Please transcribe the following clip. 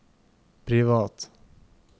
privat